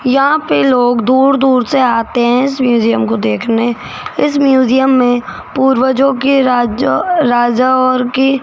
यहां पे लोग दूर दूर से आते हैं इस म्यूजियम को देखने इस म्यूजियम में पूर्वजों के राज्य राजा और की --